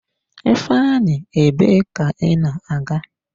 Ifeanyi, ebe ka ị na-aga?